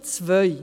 Punkt 2